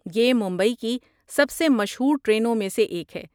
یہ ممبئی کی سب سے مشہور ٹرینوں میں سے ایک ہے۔